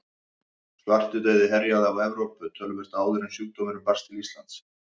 Svartidauði herjaði á Evrópu töluvert áður en sjúkdómurinn barst til Íslands.